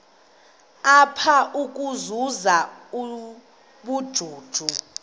apha ukuzuza ubujuju